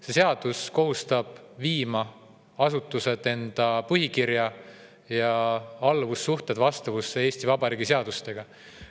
See seadus kohustab neid asutusi viima oma põhikiri ja alluvussuhted vastavusse Eesti Vabariigi seadustega.